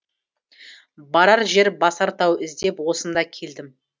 барар жер басар тау іздеп осында келдім